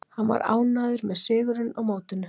Hann var ánægður með sigurinn á mótinu.